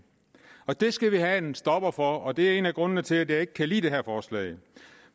det skal vi har sat en stopper for og det er en af grundene til at jeg ikke kan lide det her forslag